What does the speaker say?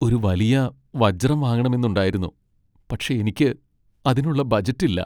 ഒരു വലിയ വജ്രം വാങ്ങണമെന്നുണ്ടായിരുന്നു, പക്ഷേ എനിക്ക് അതിനുള്ള ബജറ്റ് ഇല്ല .